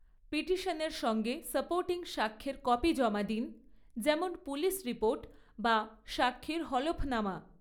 পিটিশনের সঙ্গে সাপোর্টিং সাক্ষ্যের কপি জমা দিন, যেমন পুলিশ রিপোর্ট বা সাক্ষীর হলফনামা।